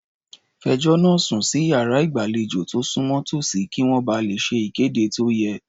Fẹjọ́ náà sùn sí iyàrá ìgbàlejò tó súnmọ́ tòsí, kí wọ́n ba lè ṣe ìkéde tó yẹ.